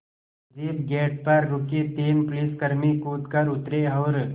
jeep gate पर रुकी तीन पुलिसकर्मी कूद कर उतरे और